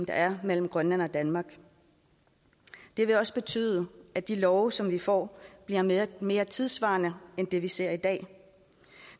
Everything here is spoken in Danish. er mellem grønland og danmark det vil også betyde at de love som vi får bliver mere mere tidssvarende end det vi ser i dag